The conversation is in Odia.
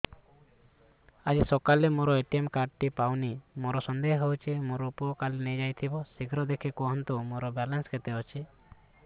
ଆଜି ସକାଳେ ମୋର ଏ.ଟି.ଏମ୍ କାର୍ଡ ଟି ପାଉନି ମୋର ସନ୍ଦେହ ହଉଚି ମୋ ପୁଅ କାଳେ ନେଇଯାଇଥିବ ଶୀଘ୍ର ଦେଖି କୁହନ୍ତୁ ମୋର ବାଲାନ୍ସ କେତେ ଅଛି